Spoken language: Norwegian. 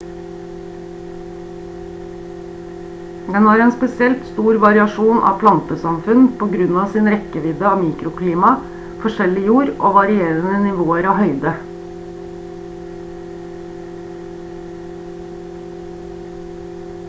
den har en spesielt stor variasjon av plantesamfunn på grunn av sin rekkevidde av mikroklima forskjellig jord og varierende nivåer av høyde